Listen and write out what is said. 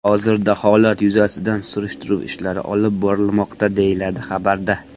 Hozirda holat yuzasidan surishtiruv ishlari olib borilmoqda”, deyiladi xabarda.